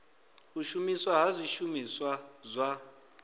u shumiswa ha zwishumiswa zwa